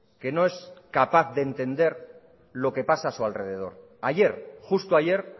que no es capaz de entender lo que pasa a su alrededor ayer justo ayer